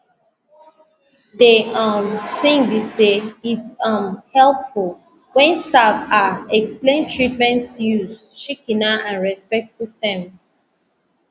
de um tin be say its um helpful wen staff ah explain treatments use shikena and respectful terms